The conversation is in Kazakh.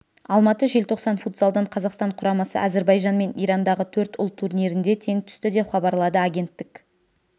алматы желтоқсан футзалдан қазақстан құрамасы әзірбайжанмен ирандағы төрт ұлт турнирінде тең түсті деп хабарлады агенттік